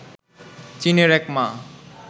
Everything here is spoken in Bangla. চীনের এক মা